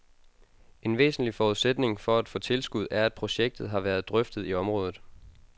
En væsentlig forudsætning for at få tilskud er, at projektet har været drøftet i området.